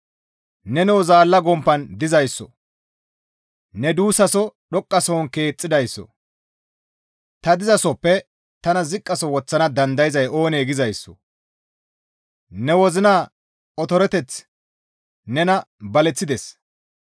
Nenoo zaalla gomppan dizayssoo! Ne duussaso dhoqqasohon keexxidayssoo! ‹Ta dizasoppe tana ziqqaso woththana dandayzay oonee?› gizayssoo! Ne wozina otoroteththi nena baleththides.